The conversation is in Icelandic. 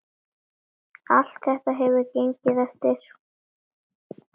Allt þetta hefur gengið eftir.